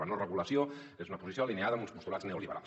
la no regulació és una posició alineada amb uns postulats neoliberals